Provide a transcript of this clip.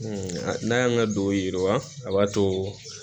n'a y'an ka don yiriwa a b'a to